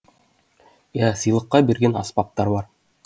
иә сыйлыққа берген аспаптар бар